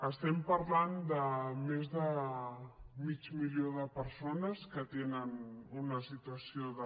estem parlant de més de mig milió de persones que tenen una situació de